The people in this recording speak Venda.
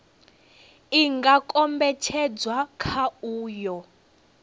i nga kombetshedzwa kha uyo